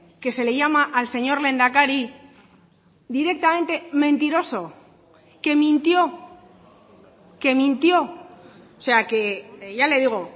que se le llama al señor lehendakari directamente mentiroso que mintió que mintió o sea que ya le digo